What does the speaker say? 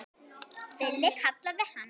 Villi kallaði hann.